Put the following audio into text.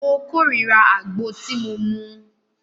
Mó kòrira àgbo tí mo mú.